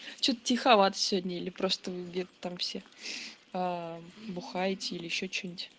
что-то тиховато сегодня или просто вы где-то там все бухаете или ещё что-нибудь